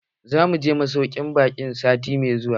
Zamu je masaukin ɓakin sati mai zuwa.